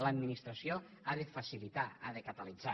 l’administració ha de facilitar ha de catalitzar